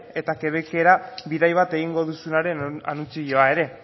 eta quebecera bidai bat egingo duzunaren anuntzioa ere